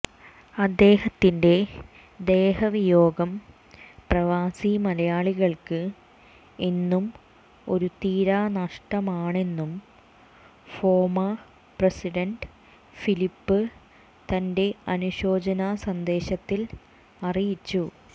അദ്ദേഹത്തിൻറെ ദേഹവിയോഗം പ്രവാസി മലയാളികൾക്ക് എന്നും ഒരു തീരാ നഷ്ടമാണെന്നും ഫോമ പ്രസിഡണ്ട് ഫിലിപ്പ് തൻറെ അനുശോചന സന്ദേശത്തിൽ അറിയിച്ചു